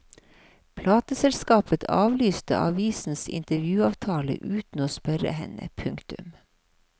Plateselskapet avlyste avisens intervjuavtale uten å spørre henne. punktum